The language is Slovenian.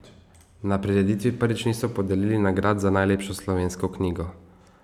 Na prireditvi prvič niso podelili nagrad za najlepšo slovensko knjigo.